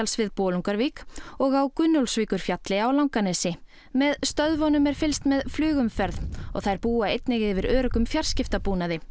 við Bolungarvík og á Gunnólfsvíkurfjalli á Langanesi með stöðvunum er fylgst með flugumferð og þær búa einnig yfir öruggum fjarskiptabúnaði